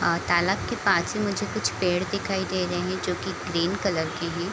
और तालाब के पास में मुझे कुछ पेड़ दिखाई दे रहे हैं जो की ग्रीन कलर के हैं |